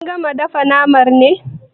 Kin gama dafa name ne?